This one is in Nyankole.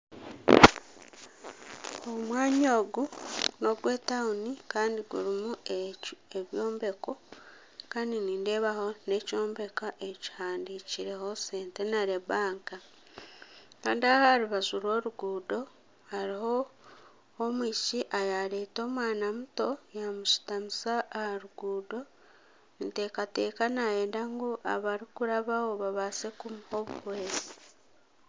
Omwanya ogu nogwetauni kandi gurimu ebyombeko kandi nindeebaho nana ekyombeko ekihandikirweho centenary bank kandi aha aha rubaju rw'oruguuto hariho omwishiki owareeta omwana muto yamushitamisa aha ruguuto ninteekateka nayenda ngu abarikurabaho babaase kumuha obuhwezi.